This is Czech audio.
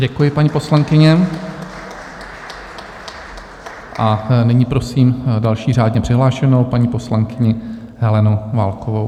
Děkuji, paní poslankyně, a nyní prosím další řádně přihlášenou, paní poslankyni Helenu Válkovou.